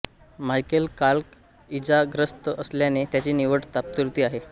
Michael Clarke इजाग्रस्त असल्याने त्याची निवड तात्पुरती आहे